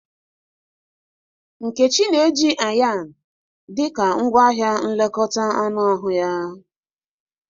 .Nkechi na-eji Ayan dị ka ngwaahịa nlekọta anụ ahụ ya.